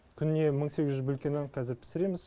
күніне мың сегіз жүз бөлке нан қазір пісіреміз